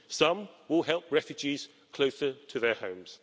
some will help refugees closer to their homes